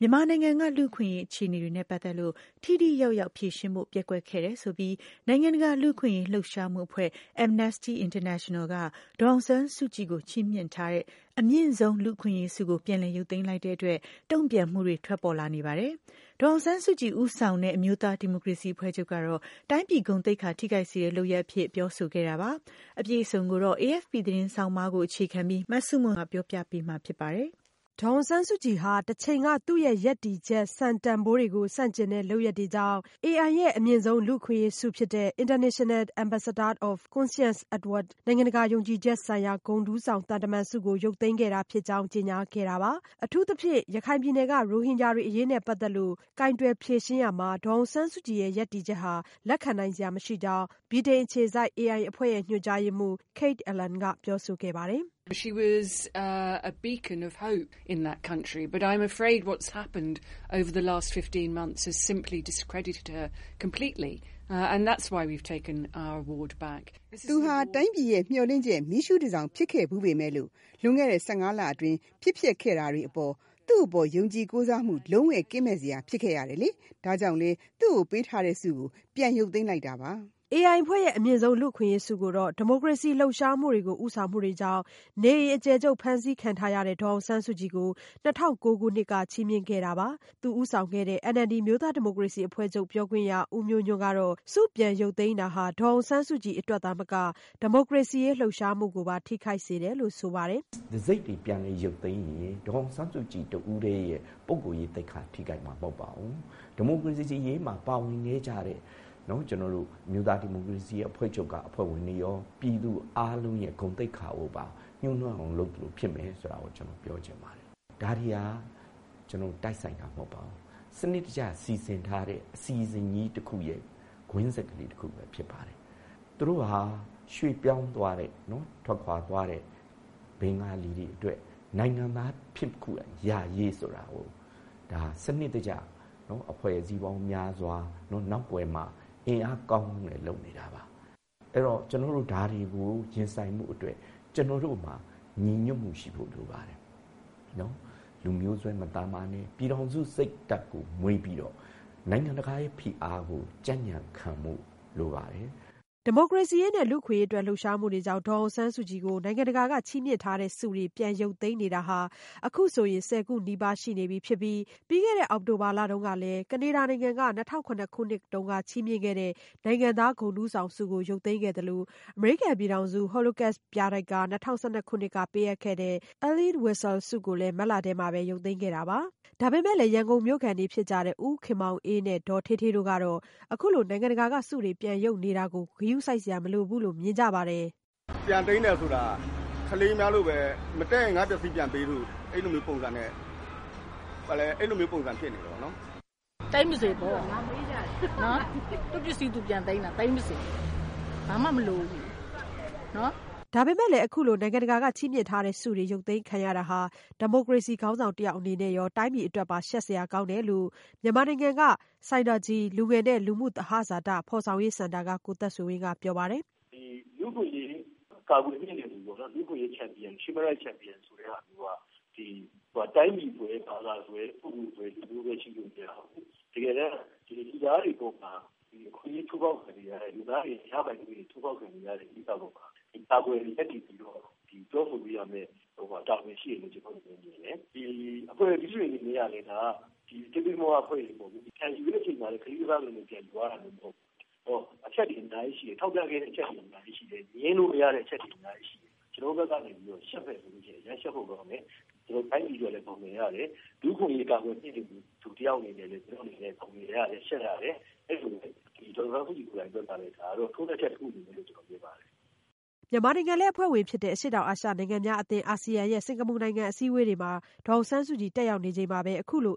မြန်မာနိုင်ငံက လူ့အခွင့်အရေး အခြေအနေတွေနဲ့ ပတ်သက်လို့ ထိထိရောက်ရောက် ဖြေရှင်းဖို့ ပျက်ကွက်ခဲ့တယ်ဆိုပြီး နိုင်ငံတကာ လူ့အခွင့်အရေး လှုပ်ရှားမှုအဖွဲ့ Amnesty International က ဒေါ်အောင်ဆန်းစုကြည်ကို ချီးမြှင့်ထားတဲ့ အမြင့်ဆုံး လူ့အခွင့်အရေးဆုကို ပြန်လည်ရုပ်သိမ်းလိုက်တဲ့အတွက် တုံ့ပြန်မှုတွေ ထွက်ပေါ်လာနေပါတယ်။ ဒေါ်အောင်ဆန်းစုကြည် ဦးဆောင်တဲ့ အမျိုးသား ဒီမိုကရေစီ အဖွဲ့ချုပ်ကတော့ တိုင်းပြည်ဂုဏ်သိက္ခာ ထိခိုက်စေတဲ့ လုပ်ရပ်အဖြစ် ပြောဆိုခဲ့တာပါ။ အပြည့်အစုံကိုတော့ AFP သတင်းဆောင်းပါးကို အခြေခံပြီး မဆုမွန်က ပြောပြပေးမှာ ဖြစ်ပါတယ်။ ဒေါ်အောင်ဆန်းစုကြည်ဟာ တချိန်က သူ့ရဲ့ရပ်တည်ချက် စံတန်ဘိုးတွေကို ဆန့်ကျင်တဲ့ လုပ်ရပ်တွေကြောင့် AI ရဲ့ အမြင့်ဆုံး လူ့အခွင့်အရေးဆုဖြစ်တဲ့ International Ambassador of Conscience Award နိုင်ငံတကာ ယုံကြည်ချက်ဆိုင်ရာ ဂုဏ်ထူးဆောင် သံတမန်ဆုကို ရုပ်သိမ်းခဲ့တာဖြစ်ကြောင်း ကြေညာခဲ့တာပါ။ အထူးသဖြင့် ရခိုင်ပြည်နယ်က ရိုဟင်ဂျာတွေ အရေးနဲ့ ပတ်သက်လို့ ကိုင်တွယ်ဖြေရှင်းရာမှာ ဒေါ်အောင်ဆန်းစုကြည်ရဲ့ ရပ်တည်ချက်ဟာ လက်ခံနိုင်စရာ မရှိကြောင်း ဗြိတိန်အခြေစိုက် AI အဖွဲ့ ညွှန်ကြားရေးမှူး Kate Allen ကပြောဆိုခဲ့တာပါ။ “သူဟာ တိုင်းပြည်ရဲ့ မျှော်လင့်ချက် မီးရှုးတန်ဆောင် ဖြစ်ခဲ့ဖူးပေမဲ့၊ လွန်ခဲ့တဲ့ ၁၅ လအတွင်း ဖြစ်ပျက်ခဲ့တာတွေက သူ့အပေါ် ယုံကြည်ကိုးစားမှုတွေ လုံးဝကင်းမဲ့စရာ ဖြစ်ခဲ့ရပါတယ်။ ဒါကြောင့်လည်း သူ့ကိုပေးထားတဲ့ဆုကို ပြန်ရုပ်သိမ်းတာပါ။” AI အဖွဲ့ရဲ့ အမြင့်ဆုံး လူ့အခွင့်အရေးဆုကိုတော့ ဒီမိုကရေစီ လှုပ်ရှားမှုတွေကို ဦးဆောင်မှုတွေကြောင့် နေအိမ်အကျယ်ချုပ် ဖမ်းဆီးခံထားရတဲ့ ဒေါ်အောင်ဆန်းစုကြည်ကို ၂၀၀၉ ခုနှစ်က ချီးမြှင့်ခဲ့တာပါ။ သူဦးဆောင်တဲ့ NLD အမျိုးသားဒီမိုကရေစီအဖွဲ့ချုပ် ပြောခွင့်ရ ဦးမျိုးညွန့်ကတော့ ဆုပြန်ရုပ်သိမ်းတာဟာ ဒေါ်အောင်ဆန်းစုကြည် အတွက်သာမက ဒီမိုကရေစီရေး လှုပ်ရှားမှုကိုပါ ထိခိုက်စေတယ်လို့ ဆိုပါတယ်။ "တံဆိပ်တွေပြန်လည်ရုပ်သိမ်းရင် ဒေါ်အောင်ဆန်းစုကြည်တဦးတည်းရဲ့ သိက္ခာထိခိုက်မှာမဟုတ်ပါဘူး။ ဒီမိုကရေစီအရေးမှာ ပါဝင်ခဲ့ကြတဲ့ အမျိုးသားဒီမိုကရေစီအဖွဲ့ချုပ်က အဖွဲ့ဝင်တွေရော ။ ပြည်သူအားလုံးဂုဏ်သိက္ခာကိုပါ ညှိးနွမ်းအောင်လုပ်သလို ဖြစ်မယ်ဆိုတာ ကျနော်ပြောချင်ပါတယ်။ ဒါတွေဟာ တိုက်ဆိုင်တာမဟုတ်ပါဘူး စနစ်တကျ စီစဉ်ထားတဲ့ အစီအစဉ်ကြီးတခုရဲ့ ကွင်းဆက်ဖြစ်ပါတယ်။ သူတို့ဟာ ရွှေ့ပြောင်းသွားတဲ့ ထွက်ခွာသွားတဲ့ ဘဂါၤလီတွေအတွက်နိုင်ငံသားဖြစ်ခွင့်ရရရေးဆိုတဲ့ စနစ်တကျ အဖွဲ့အစည်းပေါင်းများစွာ နောက်ကွယ်မှာ အင်အားကောင်းကောင်းနဲ့ လုပ်နေတာပါ။ ဒါတွေကို ကျနော်တို့ ရင်ဆိုင်ဖို့အတွက် ကျနော်တို့မှာ ညီညွတ်မှုရှိဖု့ိလိုပါတယ်။ လူမျိုးစွဲမလုပ်ပဲနဲ့ ပြည်ထောင်စုစိတ်ဓါတ်ကို မွေးပြီးတော့ နိုင်ငံတကာဖိအားကို ကြံကြံခံဖို့လိုပါတယ်။" ဒီမိုကရေစီရေးနဲ့ လူ့အခွင့်အရေးအတွက် လှုပ်ရှားမှုတွေကြောင့် ဒေါ်အောင်ဆန်းစုကြည်ကို နိုင်ငံတကာက ချီးမြှင့်ထားတဲ့ဆုတွေ ရုပ်သိမ်းနေတာ အခုဆိုရင် ၁၀ ခုနီးပါးရှိနေပြီး ပြီးခဲ့တဲ့ အောက်တိုဘာလမှာတုန်းကလည်း ကနေဒါနိုင်ငံက ၂၀၀၇ ခုနှစ်က ချီးမြှင့်ခဲ့တဲ့ နိုင်ငံသားဂုဏ်ထူးဆောင်ဆုကို ရုပ်သိမ်းခဲ့သလို၊ အမေရိကန်ပြည်ထောင်စု Holocaust ပြတိုက်က ၂၀၁၂ခုနှစ် က ပေးအပ်ခဲ့တဲ့ Elie Weisel ဆုကိုလည်း မတ်လထဲမှာပဲ ရုပ်သိမ်းခဲ့တာပါ။ ဒါပေမဲ့လည်း ရန်ကုန်မြို့ခံတွေ ဖြစ်ကြတဲ့ ဦးခင်မောင်အေး နဲ့ ဒေါ်ဌေးဌေး တို့ကတော့ အခုလို နိုင်ငံတကာက ဆုတွေ ပြန်ရုပ်နေတာကို ဂရုစိုက်စရာ မလိုဘူးလို့ မြင်ကြပါတယ်။ " ပြန်သိမ်းတယ်ဆိုတာ ကလေးများလိုပဲ မတည့်ရင် ငါ့ပစ္စည်းပြန်ပေးဆိုပြီး အဲ့လိုမျိုး ပုံစံဖြစ်နေတယ်ပေါ့နော်။" " သိမ်းပါစေပေါ့ သူ့ပစ္စည်း သူပြန်သိမ်းတာပဲ ဘာမှမလိုဘူးနော် " ဒါပေမဲ့လည်း အခုလို နိုင်ငံတကာက ချီးမြှင့်ထားတဲ့ဆုတွေ ရုပ်သိမ်းခံရတာဟာ ဒီမိုကရေစီ ခေါင်းဆောင်တယောက် အနေနဲ့ရော တိုင်းပြည်အတွက်ပါ ရှက်စရာကောင်းတယ်လို့ မြန်မာနိုင်ငံက ဆိုင်နာဂျီ လူငယ်နဲ့ လူမှုသဟဇာတ ဖော်ဆောင်ရေးစင်တာက ကိုသက်ဆွေဝင်းက ပြောပါတယ်။ "လူ့အခွင့်အရေးကာကွယ်မြှင့်တင်သူပေါ့နော် human rights champion ဆိုသူက တိုင်းပြည်စွဲ၊ ဘာသာစွဲ၊ ပုဂ္ဂိုလ်စွဲ၊ လူမျိုးစွဲရှိလိုမရဘူး။ တကယ်တမ်း လူသားတွေအပေါ်မှာ အခွင့်အရေးချိုးဖောက်ခံနေရတဲ့ ၊ ရပိုင်ခွင့်တွေချိုးဖောက်ခံရတဲ့ ကိစ္စမှာ လူသားတွေကို ကာကွယ်ရပ်တည်ပြီးတော့ ပြောဆိုဖို့ တာဝန်ရှိတယ်လို့ ကျနော့်အနေနဲ့ မြင်တယ်။ အဖွဲ့အစည်းတွေအနေနဲ့ကလည်း သေးသေးမွားမွားအဖွဲ့အစည်းမဟုတ်ဘူး ၊ ပြန်ယူတဲ့အခါလည်း ကလေးကစားသလိုမျိုး ပြန်ယူသွားတာမဟုတ်ဘူး။ အဲဒီတော့ အချက်တွေအများကြီးရှိတယ် ထောက်ပြခဲ့တဲ့အချက်တွေအများကြီးရှိတယ်။ ငြင်းလို့မရတဲ့အချက်တွေအများကြီးရှိတယ်။ ကျနေ်ာတို့ဘက်ကနေပြီးတော့ အရမ်းရှက်ဖို့ကောင်းတယ်၊ တိုင်းပြည်အတွက်လည်း မျက်နှာငယ်ရတယ်၊ လူ့အခွင့်အရေးကာကွယ်မြင့်တင်သူ တယောက်အနေနဲ့ ရှက်ရတယ် ဒေါ်အောင်ဆန်းစုကြည် အတွက်လည်း ထိုးနှက်ချက်တခုလို့ မြင်ပါတယ်။" မြန်မာနိုင်ငံလည်း အဖွဲ့ဝင်ဖြစ်တဲ့ အရှေ့တောင်အာရှ နိုင်ငံများအသင်း Asean ရဲ့ စင်္ကာပူနိုင်ငံ အစည်းအဝေးပွဲတွေမှာ ဒေါ်အောင်ဆန်းစုကြည် တက်ရောက်နေချိန်မှာပဲ